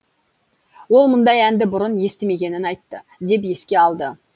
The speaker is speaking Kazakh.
ол мұндай әнді бұрын естімегенін айтты деп еске алды